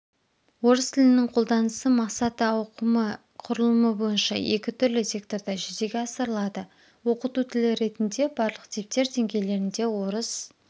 орыс тілінің қолданысы мақсаты ауқымы құрылымы бойынша екі түрлі секторда жүзеге асырылады оқыту тілі ретінде барлық типтер деңгейлерінде орыс